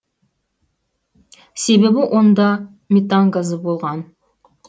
себебі онда метан газы болған